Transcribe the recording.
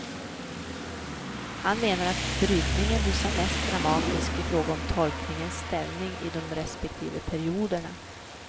Han menar att brytningen blir som mest dramatisk i fråga om tolkningens ställning i de respektive perioderna.